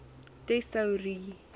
tesourie